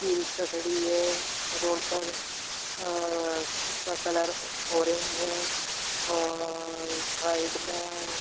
e rickshaw खड़ी है road पर और उसका कलर ऑरेंज है और साइड में --